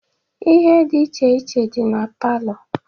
Ihe dị iche iche dị na palọ